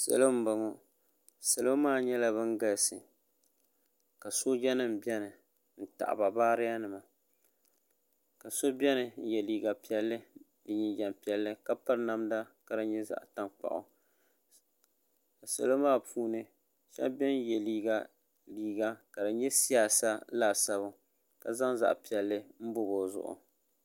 salo n boŋɔ salo maa nyɛla bɛn galisi ka soja nim bɛni n tagiba bariya nima ka so bɛni yɛ liga piɛli ni jijam piɛli ka pɛri namda di nyɛ zaɣ' tankpagu salo maa puuni ka tum yɛ liga ka di nyɛ siyasa tani laasabu ka zaŋ zuɣ' piɛli n bobi o zuɣ'